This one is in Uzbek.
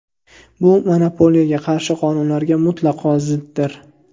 Bu monopoliyaga qarshi qonunlarga mutlaqo ziddir.